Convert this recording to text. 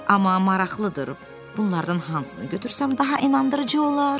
Amma maraqlıdır, bunlardan hansını götürsəm daha inandırıcı olar?